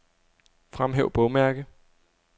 Fremhæv bogmærke.